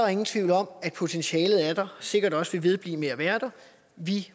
er nogen tvivl om at potentialet er der og sikkert også vil vedblive med at være der vi